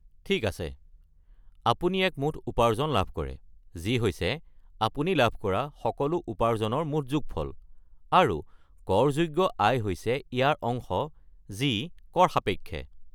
ঠিক আছে, আপুনি এক মুঠ উপাৰ্জন লাভ কৰে, যি হৈছে আপুনি লাভ কৰা সকলো উপাৰ্জনৰ মুঠ যোগফল, আৰু কৰযোগ্য আয় হৈছে ইয়াৰ অংশ, যি কৰ সাপেক্ষে।